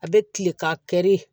A bɛ kilen ka kɛri